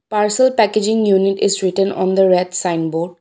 Parcel packaging unit is written on the red sign board.